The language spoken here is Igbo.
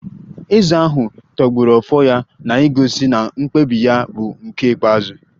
Eze ahụ tọgbọrọ Ofo ya na-egosi na mkpebi ya bụ nke ikpeazụ